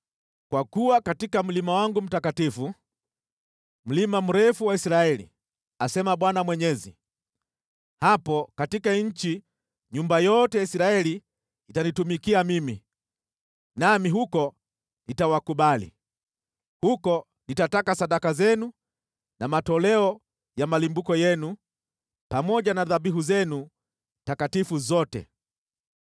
Kwa kuwa katika mlima wangu mtakatifu, mlima mrefu wa Israeli, asema Bwana Mwenyezi, hapo katika nchi nyumba yote ya Israeli itanitumikia mimi, nami huko nitawakubali. Huko nitataka sadaka zenu na matoleo ya malimbuko yenu, pamoja na dhabihu zenu takatifu zote.